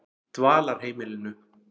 Dvalarheimilinu